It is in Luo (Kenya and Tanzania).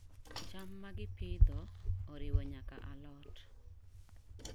Cham ma gipidho oriwo nyaka alot.